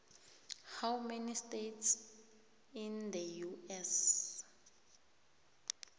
how many states in the us